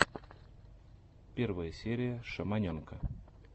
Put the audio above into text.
первая серия шаманенка